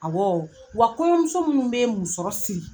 Awɔɔ wa kɔɲɔmuso munnu be musɔrɔ siri